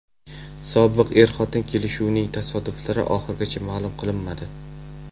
Sobiq er-xotin kelishuvining tafsilotlari oxirigacha ma’lum qilinmadi.